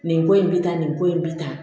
Nin ko in bɛ taa nin ko in bɛ ta